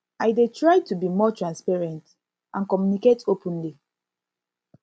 i i dey try to be more transparent and communicate openly